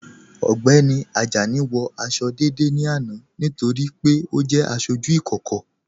Ọgbẹ́ni Ajani wọ àṣọ̀ dédé ní àná nítorí pé ọ jẹ́ àṣọjú ìkókò.